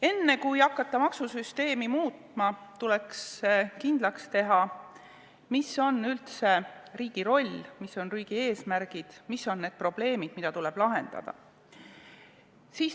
Enne kui hakata maksusüsteemi muutma, tuleks kindlaks teha, mis on üldse riigi roll, mis on riigi eesmärgid, mis on probleemid, mida tuleb lahendada.